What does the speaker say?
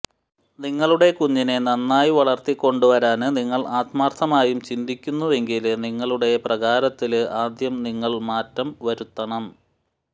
നിങ്ങളുടെ കുഞ്ഞിനെ നന്നായി വളര്ത്തിക്കൊണ്ടുവരാന് നിങ്ങള് ആത്മാര്ത്ഥമായും ചിന്തിക്കുന്നുവെങ്കില് നിങ്ങളുടെ പ്രകാരത്തില് ആദ്യം നിങ്ങള് മാറ്റം വരുത്തണം